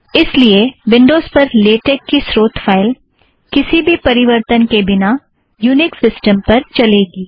इस लिए विन्ड़ोज़ पर लेटेक का स्रोत फ़ाइल किसी भी परिवर्तन के बिना यूनिक्स सिस्टमस पर चलेगी